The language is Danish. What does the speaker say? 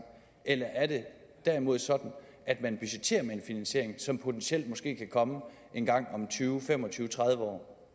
eller er det derimod sådan at man budgetterer med en finansiering som potentielt kan komme engang om tyve fem og tyve tredive år